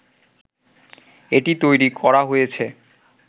এটি তৈরি করা হয়েছে